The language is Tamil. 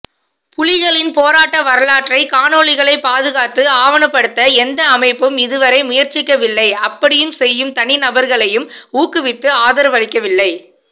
புலிகளின் போராட்ட வரலாற்றைக் காணொளிகளை பாதுகாத்து ஆவணப்படுத்த எந்த அமைப்பும் இதுவரை முயற்சிக்கவில்லை அப்படி செய்யும் தனிநபர்களையும் ஊக்குவித்து ஆதரவளிக்கவில்லை